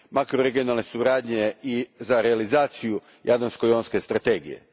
makroregionalne suradnje i za realizaciju Jadransko jonske strategije.